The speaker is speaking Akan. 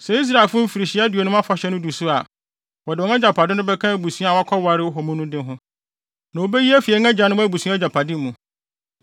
Sɛ Israelfo Mfirihyia Aduonum Afahyɛ no du so a, wɔde wɔn agyapade no bɛka abusua a wɔkɔwaree wɔ mu no de ho, na wobeyi afi yɛn agyanom abusua agyapade mu.”